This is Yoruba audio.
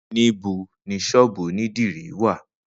Nibo ni sọ́ọ́bú onidiri wa?